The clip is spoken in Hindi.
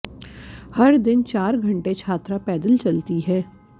हर दिन चार घंटे छात्रा पैदल चलती है